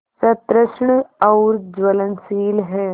सतृष्ण और ज्वलनशील है